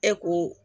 E ko